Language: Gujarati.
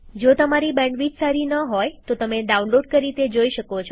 જો તમારી બેન્ડવિડ્થ સારી ન હોય તો તમે ડાઉનલોડ કરી તે જોઈ શકો છો